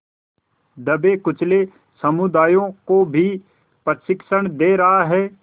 दबेकुचले समुदायों को भी प्रशिक्षण दे रहा है